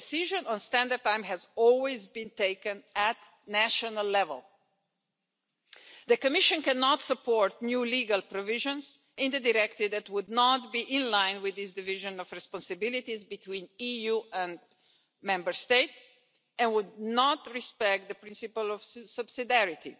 The decision on standard time has always been taken at national level. The Commission cannot support new legal provisions in the directive that would not be in line with this division of responsibilities between the EU and Member States and would not respect the principle of subsidiarity.